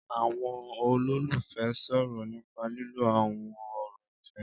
Àwọn olólùfẹ́ ń sọ̀rọ̀ nípa lílo àwọn ọ̀rọ̀ ìfẹ́